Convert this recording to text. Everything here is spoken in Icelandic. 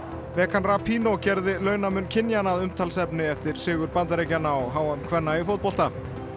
megan gerði launamun kynjanna að umtalsefni eftir sigur Bandaríkjanna á h m kvenna í fótbolta